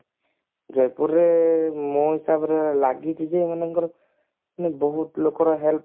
ଜୟପୁରରେ ମୋ ହିସାବରେ ଲାଗିଛି ଯେ ମନେକର ମାନେ ବହୁତ ଲୋକର help